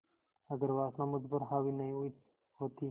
अगर वासना मुझ पर हावी नहीं हुई होती